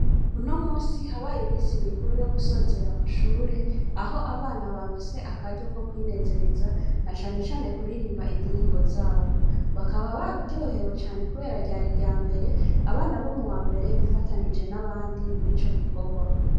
Unomusi habaye imisi mikuru yo gusozera amashure aho abana barose akaryo ko kwinezereza nacanecane kuririmba indirimbo zabo. Bakaba baryohewe cane kubera ryari iryambere abana bo m'uwambere bifatanije n'abandi mw'ico gikorwa.